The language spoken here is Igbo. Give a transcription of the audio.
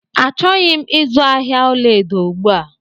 Achọghị m izu ahịa ọla edo ugbu a